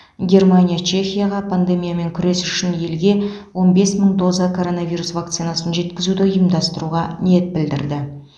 германия чехияға пандемиямен күрес үшін елге он бес мың доза коронавирус вакцинасын жеткізуді ұйымдастыруға ниет білдірді